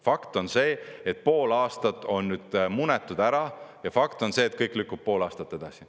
Fakt on see, et pool aastat on munetud ära, ja fakt on see, et kõik lükkub pool aastat edasi.